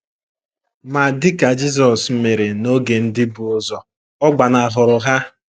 Ma dị ka Jisọs mere n’oge ndị bu ụzọ, ọ gbanahụrụ ha.